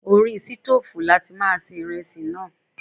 Orí sítófùn ni a ti máa se iresi náà.